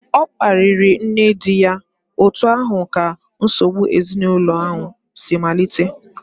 Ọ kparịrị nne di ya, otu ahụ ka nsogbu ezinụlọ si malite